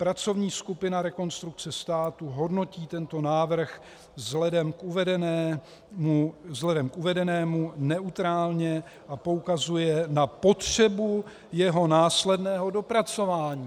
Pracovní skupina Rekonstrukce státu hodnotí tento návrh vzhledem k uvedenému neutrálně a poukazuje na potřebu jeho následného dopracování.